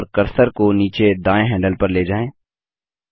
पेड़ चुनें और कर्सर को नीचे दायें हैंडल पर ले जाएँ